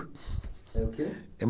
É o quê?